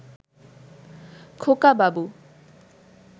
খোকাবাবু